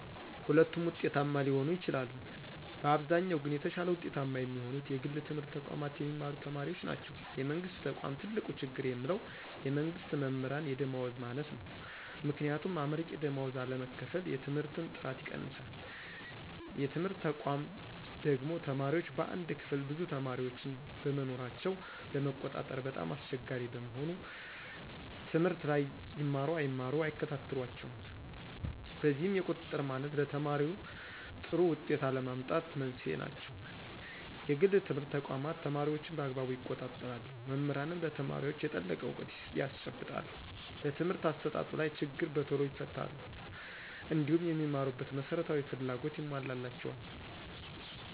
ሁለቱም ውጤታማ ሊሆኑ ይችላሉ። በአብዛኛው ግን የተሻለ ውጤታማ የሚሆኑት የግል ትምህርት ተቋማት የሚማሩ ተማሪዎች ናቸው። የመንግስት ተቆም ትልቁ ችግር የምለው የመንግስት መምህራን የደመወዝ ማነስ ነው። ምክንያቱም አመርቂ ደመወዝ አለመከፈል የትምህርትን ጥራት ይቀንሳል። የትምህርት ተቋማ ደግሞ ተማሪዎች በአንድ ክፍል ብዙ ተማሪዎችን በመኖራቸው ለመቆጣጠር በጣም አስቸጋሪ በመሆኑ ትምህርት ላይ ይማሩ አይማሩ አይከታተሏቸውም። በዚህም የቁጥጥር ማነስ ለተማሪዎይ ጥሩ ውጤት አለመምጣት መንስኤ ናቸው። የግል ትምህርት ተቋማት ተማሪዎችን በአግባቡ ይቆጣጠራሉ መምህራንም ለተማሪዎች የጠለቀ እውቀት ያስጨብጣሉ በትምህርት አሰጣጡ ላይ ችግር በቶሎ ይፈታሉ። እንዲሁም የሚማሩበት መሰረታዊ ፍላጎቶች ይሞላላቸዎል